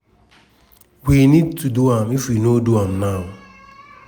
e add say once di new lawyer take ova di case e no go tey wey dem go do di dna test.